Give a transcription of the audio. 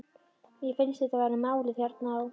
Mér finnst þetta vera málið hérna á